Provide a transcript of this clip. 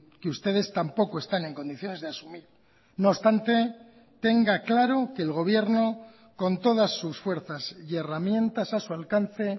que ustedes tampoco están en condiciones de asumir no obstante tenga claro que el gobierno con todas sus fuerzas y herramientas a su alcance